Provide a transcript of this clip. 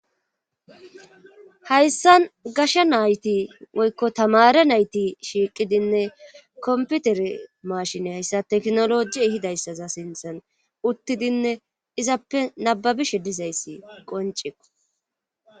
Hayssan gasha nayti woykko tamare nayti shiiqidinne komputere maashini hayssa teknoloji hidayssaza sinthan uttidinne izappe nababishe dizayssi qoncekko.